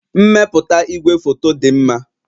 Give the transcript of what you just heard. Mmepụta igwefoto dị mma